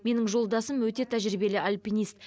менің жолдасым өте тәжірибелі альпинист